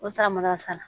O taara masala